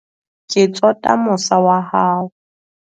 ke tsota mosa wa hao